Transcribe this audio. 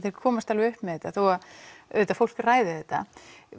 komast upp með þetta þó að auðvitað fólk ræði þetta